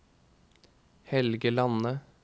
Helge Lande